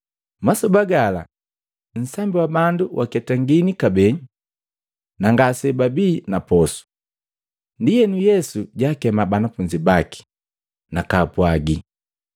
Masoba gala, nsambi wa bandu waketangini kabee, na ngasebabii na posu. Ndienu Yesu jaakema banafunzi baki, nakaapwaagi,